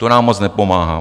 To nám moc nepomáhá.